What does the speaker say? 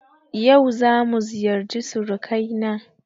Yau zamu ziyarci surukai na